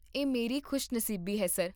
ਇਹ ਮੇਰੀ ਖੁਸ਼ੀ ਨਸੀਬੀ ਹੈ, ਸਰ